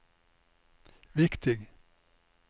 viktig